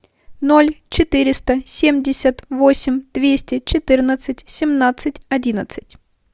ноль четыреста семьдесят восемь двести четырнадцать семнадцать одиннадцать